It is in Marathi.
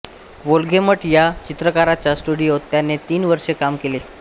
वोल्गेमट या चित्रकाराच्या स्टुडिओत त्याने तीन वर्षे काम केले